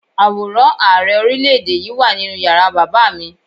Àwòrán Ààrẹ Orílé-èdè yí wà nínú yàrá bàbá mi